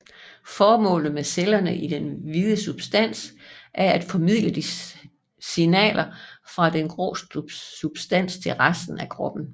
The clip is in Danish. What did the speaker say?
Formålet med cellerne i den hvide substans er at formidle signaler fra den grå substans til resten af kroppen